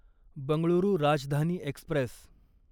Bengaluru Rajdhani Express